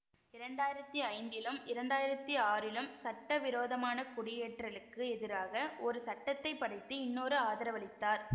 இரண்டு ஆயிரத்தி ஐந்திலும் இரண்டு ஆயிரத்தி ஆறிலும் சட்டவிரோதமான குடியேற்றலுக்கு எதிராக ஒரு சட்டத்தை படைத்து இன்னொரு ஆதரவளித்தார்